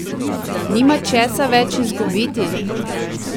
Nima česa več izgubiti?